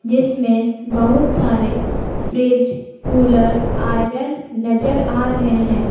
इसमें बहुत सारे फ्रीज कूलर आयरन नजर आ रहे है।